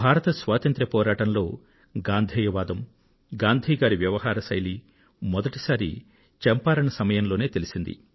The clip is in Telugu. భారత స్వాతంత్ర్య పోరాటంలో గాంధేయ వాదం గాంధీ గారి వ్యవహార శైలి మొదటిసారి చంపారణ్ సమయంలోనే తెలిసింది